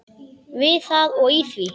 Við það og í því.